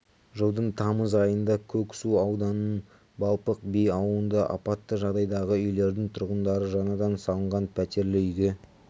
жылдың тамыз айында көксу ауданының балпық би ауылында апатты жағдайдағы үйлердің тұрғындары жаңадан салынған пәтерлі үйге